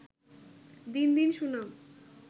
দিন দিন সুনাম